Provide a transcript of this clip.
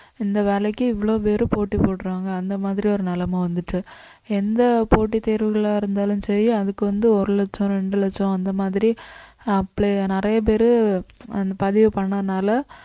இந்த வேலைக்கு இவ்வளவு பேரு போட்டி போடுறாங்க அந்த மாதிரி ஒரு நிலைமை வந்துட்டு எந்த போட்டித் தேர்வுகளா இருந்தாலும் சரி அதுக்கு வந்து ஒரு லட்சம் ரெண்டு லட்சம் அந்த மாதிரி apply நிறைய பேரு அந்த பதிவு பண்ணதுனால